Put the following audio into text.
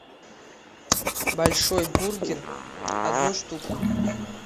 большой бургер одну штуку